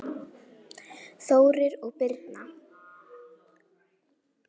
Þórir og Birna.